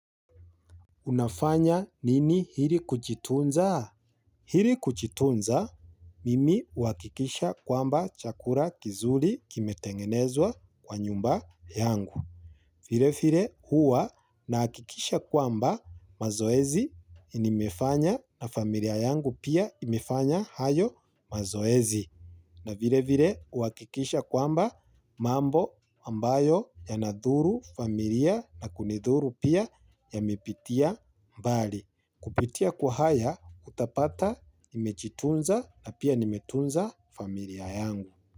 Unafanya nini hili kuchitunza? Hili kuchitunza, mimi uakikisha kwamba chakura kizuri kimetengenezwa kwa nyumba yangu. Vile vile huwa na akikisha kwamba mazoezi inimefanya na familia yangu pia imefanya hayo mazoezi. Na vile vile uwakikisha kwamba mambo ambayo yanadhuru familia na kunidhuru pia yamepitia mbali. Kupitia kwa haya utapata nimechitunza na pia nimetunza familia yangu.